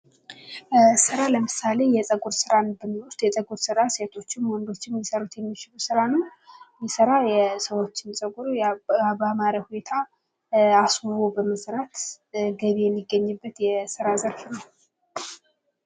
ሥራ ለምሳሌ የፀጉር ስራን ብንወስድ የፀጉር ሥራ ሴቶችም ወንዶችም ሊሰሩት የሚችሉት ሥራ ነው:: ይህ ሥራ የሰዎችን ፀጉር ባማረ ሁኔታ አስውቦ በመስራት ገቢ የሚገኝበት የስራ ዘርፍ ነው::